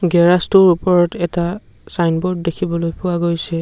Garage টোৰ ওপৰত এটা ছাইনবোৰ্ড দেখিবলৈ পোৱা গৈছে।